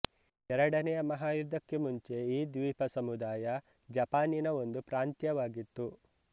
ಎರಡನೆಯ ಮಹಾಯುದ್ಧಕ್ಕೆ ಮುಂಚೆ ಈ ದ್ವೀಪಸಮುದಾಯ ಜಪಾನಿನ ಒಂದು ಪ್ರಾಂತ್ಯವಾಗಿತ್ತು